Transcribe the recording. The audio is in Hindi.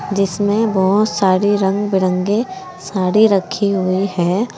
जिसमें बहोत सारी रंग बिरंगी साड़ी रखी हुई है।